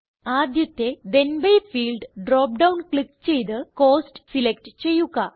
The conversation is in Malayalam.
ആദ്യത്തെ then B field drop down click ചെയ്ത് കോസ്റ്റ് സിലക്റ്റ് ചെയ്യുക